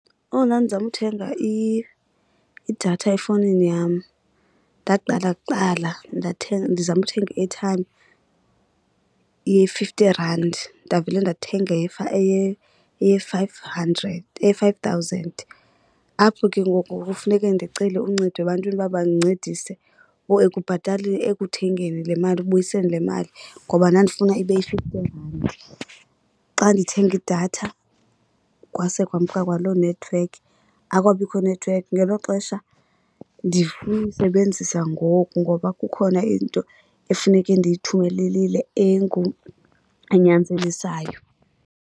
Oh, ndandizama ukuthenga idatha efowunini yam. Ndaqala kuqala ndizame ukuthenga i-airtime ye-fifty rand, ndavela ndathenga eye-five hundred, eye-five thousand. Apho ke ngoku kufuneke ndicele uncedo ebantwini uba bandincedise ekuthengeni le mali, ekubuyiseni le mali ngoba ndandifuna ibe yi-fifty rand. Xa ndithenga idatha kwase kwamka kwaloo nethiwekhi, akwabikho nethiwekhi ngelo xesha ndifuna uyisebenzisa ngoku ngoba kukhona into efuneke ndiyithumelelile enyanzelisayo.